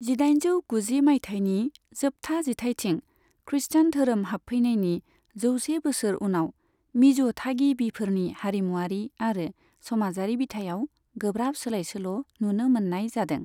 जिदाइनजौ गुजि मायथाइनि जोबथा जिथाइथिं खृष्टान धोरोम हाबफैनायनि जौसे बोसोर उनाव मिज' थागिबिफोरनि हारिमुआरि आरो समाजारि बिथायाव गोब्राब सोलायसोल' नुनो मोननाय जादों।